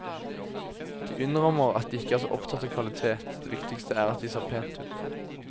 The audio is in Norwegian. De innrømmer at de ikke er så opptatt av kvalitet, det viktigste er at det ser pent ut.